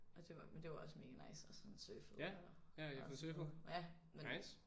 Og det var men det var også mega nice og sådan surfet og og sådan noget ja men